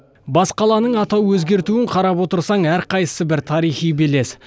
бас қаланың атау өзгертуін қарап отырсаң әрқайсы бір тарихи белес